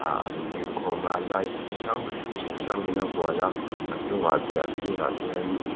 an dingkhawm a light chi hrangs hrang in a hual a a chung ah te a sir ah te hian--